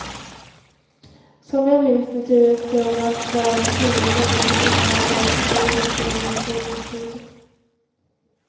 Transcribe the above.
Som jag minns det turades de om med att vara tjuriga, revolutionära och mordiska under ett par års tid.